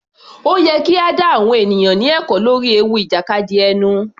Ó yẹ kí a dá àwọn ènìyàn ní ẹ̀kọ́ lórí ewu ìjàkadì ẹnu.